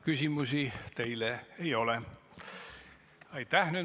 Küsimusi teile ei ole.